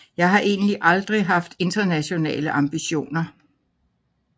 Jeg har egentlig aldrig haft internationale ambitioner